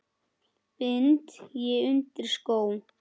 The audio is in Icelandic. bind ég undir skó